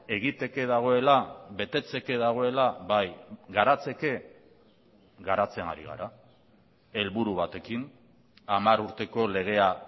egiteke dagoela betetzeke dagoela bai garatzeke garatzen ari gara helburu batekin hamar urteko legea